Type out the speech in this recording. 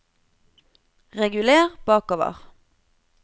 reguler bakover